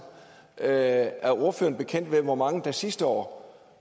er er ordføreren bekendt med hvor mange der sidste år